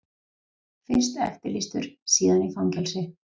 Fyrst eftirlýstur, síðan í fangelsi.